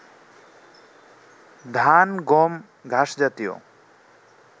ধান, গম, ঘাস জাতীয়